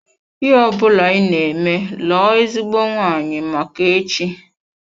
Ihe ọbụla ị na-eme lụọ ezigbo nwanyị Make echi oo.